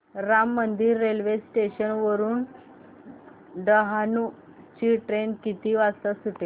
Ram Mandir railway station वरुन डहाणू ची train किती वाजता सुटेल